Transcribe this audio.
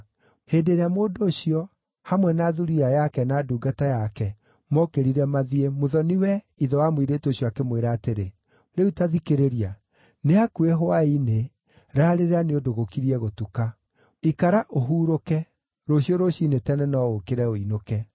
Hĩndĩ ĩrĩa mũndũ ũcio, hamwe na thuriya yake na ndungata yake, mookĩrire mathiĩ, mũthoni-we, ithe wa mũirĩtu ũcio, akĩmwĩra atĩrĩ, “Rĩu ta thikĩrĩria, nĩ hakuhĩ hwaĩ-inĩ raarĩrĩra nĩ ũndũ gũkirie gũtuka. Ikara ũhurũke. Rũciũ rũciinĩ tene no ũũkĩre ũinũke.”